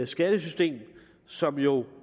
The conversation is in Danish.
skattesystem som jo